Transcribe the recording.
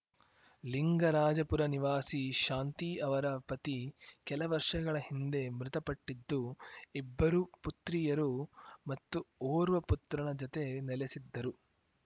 ಲಿಂಗರಾಜಪುರ ನಿವಾಸಿ ಶಾಂತಿ ಅವರ ಪತಿ ಕೆಲ ವರ್ಷಗಳ ಹಿಂದೆ ಮೃತಪಟ್ಟಿದ್ದು ಇಬ್ಬರು ಪುತ್ರಿಯರು ಮತ್ತು ಓರ್ವ ಪುತ್ರನ ಜತೆ ನೆಲೆಸಿದ್ದರು